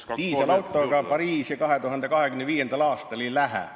Diiselautoga Pariisi 2025. aastal ei lähe.